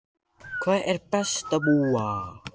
Helga: Hvar er best að búa?